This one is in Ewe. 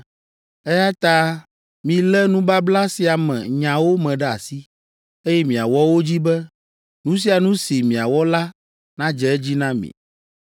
eya ta milé nubabla sia me nyawo me ɖe asi, eye miawɔ wo dzi be, nu sia nu si miawɔ la nadze edzi na mi.